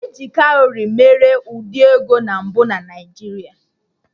E ji kawrị mere ụdị ego na mbụ na Naijiria